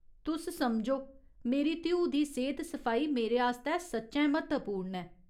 तुस समझो, मेरी धीऊ दी सेह्त सफाई मेरे आस्तै सच्चैं म्हत्वपूर्ण ऐ।